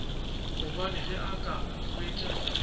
gobane ge a ka hwetša